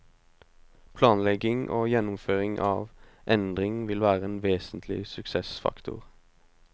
Planlegging og gjennomføring av endring vil være en vesentlig suksessfaktor.